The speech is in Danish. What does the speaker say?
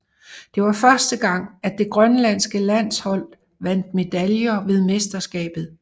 Det var første gang at det grønlandske landshold vandt medaljer ved mesterskabet